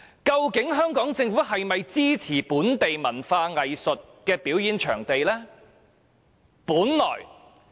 究竟香港政府是否支持興建本地文化藝術表演場地呢？